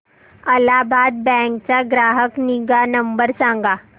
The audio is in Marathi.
अलाहाबाद बँक चा ग्राहक निगा नंबर सांगा